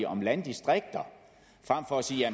om landdistrikter frem for at sige